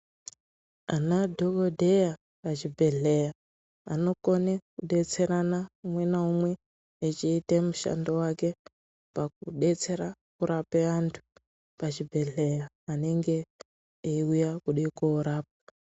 Ana dhokodheya pachibhendhleya vanokone kudetserana umwe naumwe echiita mushando wake pakudetsera kurapa antu pachibhendhleya vanenge veiuya kuda koorapwa.